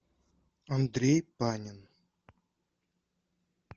андрей панин